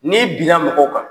N'i binna mɔgɔw kan